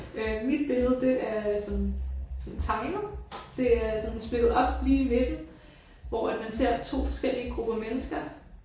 Øh mit billede det er sådan sådan tegnet. Det er sådan splittet op lige i midten hvor at man ser to forskellige grupper mennesker